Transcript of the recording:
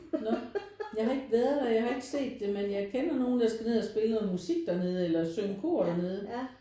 Når jeg har ikke været der jeg har ikke set det men jeg kender nogen der skal ned og spille noget musik dernede eller synge kor dernede